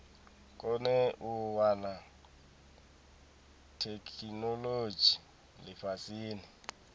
kone u wana theikinolodzhi lifhasini